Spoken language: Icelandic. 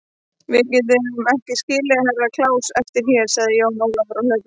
Við getum ekki skilið Herra Kláus eftir hérna, sagði Jón Ólafur á hlaupunum.